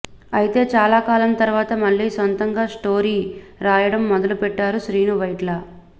అయితే చాలా కాలం తర్వాత మళ్లీ సొంతగా స్టోరీ రాయడం మొదలు పెట్టారు శ్రీను వైట్ల